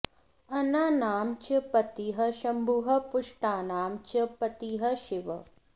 अन्नानां च पतिः शंभुः पुष्टानां च पतिः शिवः